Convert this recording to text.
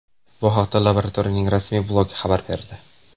Bu haqda laboratoriyaning rasmiy blogi xabar berdi .